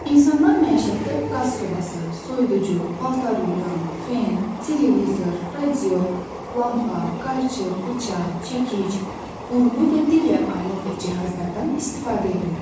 İnsanlar məişətdə qaz sobası, soyuducu, paltar yuyan, fen, televizor, radio, lampa, qayçı, bıçaq, çəkic, burğu və digər alət və cihazlardan istifadə eləyirlər.